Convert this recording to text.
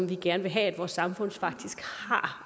vi gerne vil have at vores samfund faktisk har